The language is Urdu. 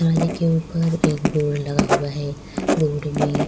کیواڑی کے اپر بورڈ لگا ہوا ہے، بورڈ مے --